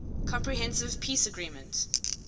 comprehensive peace agreement